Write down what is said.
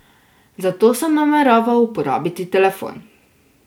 Za to sem nameraval uporabiti telefon.